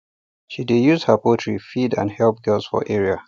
she dey use her poultry feed and help girls for area